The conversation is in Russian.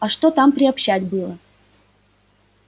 а что там приобщать было